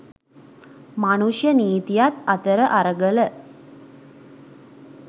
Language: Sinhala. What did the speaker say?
මනුෂ්‍ය නීතියත් අතර අරගල